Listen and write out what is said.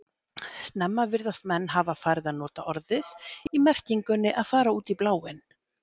Snemma virðast menn hafa farið að nota orðið í merkingunni að fara út í bláinn.